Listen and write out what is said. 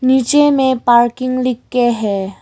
नीचे में पार्किंग लिख के है।